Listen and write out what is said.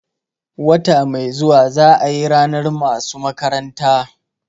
Wata mai zuwa za ayi ranar masu makaranta